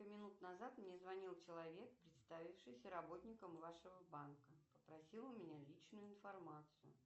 минут назад мне звонил человек представившийся работником вашего банка попросил у меня личную информацию